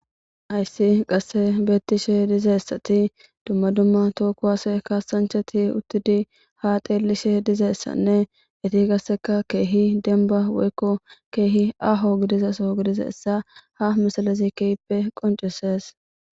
Ayssi qasse beettishe dizaessati dumma dumma tookuwase kaasanchati uttidi ha teellishe dizeyssanne iti qasseka keehi denba woykko keehi aho gidizaso gidizaessa ha misalazi keyppe qoncisees